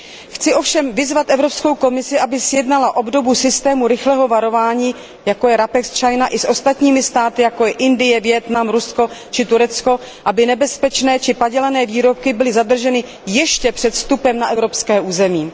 Chci ovšem vyzvat Evropskou komisi, aby sjednala obdobu systému rychlého varování, jako je RAPEX China, i s ostatními státy, jako je Indie, Vietnam, Rusko či Turecko, aby nebezpečné či padělané výrobky byly zadrženy ještě před vstupem na evropské území.